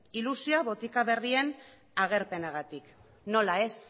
ilusioa botika berrien agerpenagatik nola ez